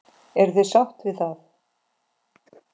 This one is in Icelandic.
Eruð þið sátt við það?